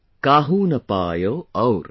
Kaahu na payau aur"